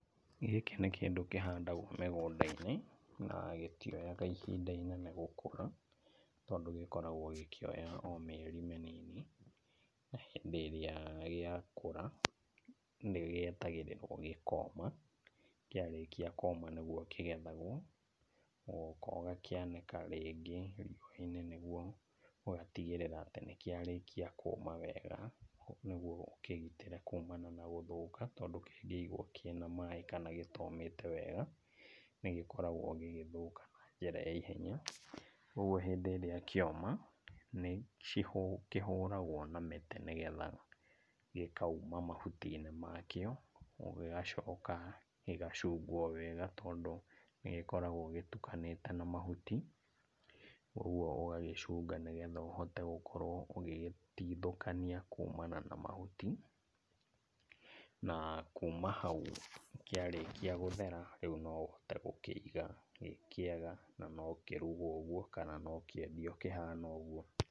Gĩkĩ nĩ kĩndũ kĩhandagwo mĩgũnda-inĩ, na gĩtioyaga ihinda inene gũkũra, tondũ gĩkoragwo gĩkĩoya o mĩeri mĩnini, na hĩndĩ ĩrĩa gĩakũra, nĩgĩetagĩrĩrwo gĩkoma. Kĩarĩkia kũũma nĩguo kĩgethagwo ũgoka ũgakĩanĩka riũa-inĩ nĩguo ũgatigĩrĩra atĩ nĩkĩarĩkia kũũma wega nĩguo ũkĩgitĩre kuuma na gũthũka tondũ kĩngĩigwo kĩna maaĩ kana gĩtomĩte wega, nĩgĩkoragwo gĩgĩthũka na njĩra ya ihenya, ũguo hĩndĩ ĩrĩa kĩoma, nĩkĩhũragwo na mĩtĩ nĩgetha gĩkauma mahuti-inĩ makio. Gĩgacoka gĩgacungwo wega tondũ nĩgĩkoragwo gĩtukanĩte na mahuti, ũguo ũgagĩcunga nĩgetha ũkorwo ũgĩtigithũkania kuumana na mahuti, na kuuma hau kĩarĩkia gũthera, rĩu no ũhote gũkĩiga kĩ kĩega na no kĩrugwo ũguo kana no kĩendio kĩhana ũguo.